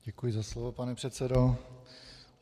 Děkuji za slovo, pane předsedo.